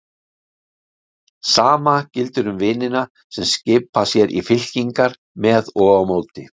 Sama gildir um vinina sem skipa sér í fylkingar með og á móti.